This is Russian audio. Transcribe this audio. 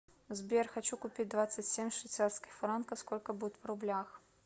сбер хочу купить двадцать семь швейцарских франков сколько будет в рублях